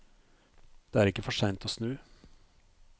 Det er ikke for sent å snu.